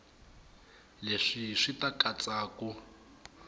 leswi swi ta katsa ku